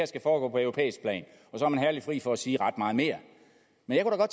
skal foregå på europæisk plan så er man herligt fri for at sige ret meget mere men